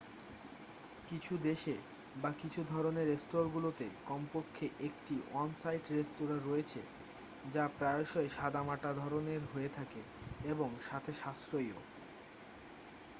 কিছু দেশে বা কিছু ধরণের স্টোরগুলোতে কমপক্ষে একটি অন সাইট রেস্তোঁরা রয়েছে যা প্রায়শই সাদামাটা ধরণের হয়ে থাকে এবং সাথে সাশ্রয়ীও